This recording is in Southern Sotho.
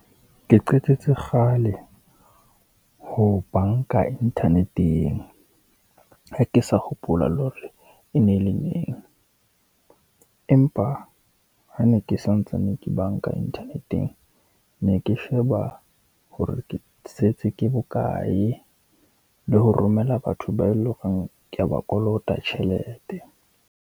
Ke qetetse kgale ho banka internet-eng, ha ke sa hopola le hore e ne le neng. Empa ha ne ke santsane ke banka internet-eng, ne ke sheba hore ke setse ke bokae le ho romela batho bao e le horeng ke ya ba kolota tjhelete.